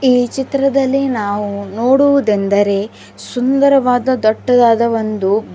ಈ ಚಿತ್ರದಲ್ಲಿ ನಾವು ನೋಡುವುದೆಂದರೆ ಸುಂದರವಾದ ದಟ್ಟದಾದ ಒಂದು--